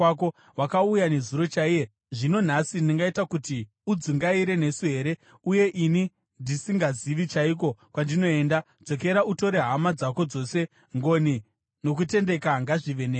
Wakauya nezuro chaiye, zvino nhasi ndingaita kuti udzungaire nesu here, uye ini ndisingazivi chaiko kwandinoenda? Dzokera, utore hama dzako dzose. Ngoni nokutendeka ngazvive newe.”